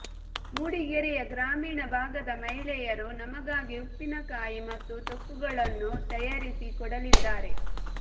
ಮೂಡಿಗೆರೆಯ ಗ್ರಾಮೀಣ ಭಾಗದ ಮಹಿಳೆಯರು ನಮಗಾಗಿ ಉಪ್ಪಿನಕಾಯಿ ಮತ್ತು ತೊಕ್ಕುಗಳನ್ನು ತಯಾರಿಸಿ ಕೊಡಲಿದ್ದಾರೆ